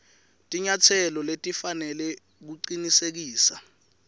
tinyatselo letifanele kucinisekisa